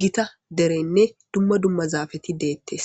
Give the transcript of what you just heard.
gita derenne dumma dumma zaafeti deettes